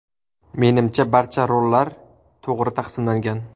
Menimcha, barcha rollar to‘g‘ri taqsimlangan.